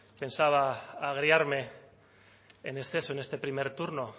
pensaba agriarme en exceso en este primer turno